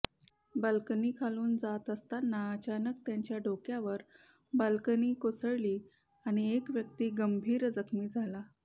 balcony खालून जात असताना अचानक त्याच्या डोक्यावर बाल्कनी कोसळली आणि एक व्यक्ती गंभीर जखमी झाला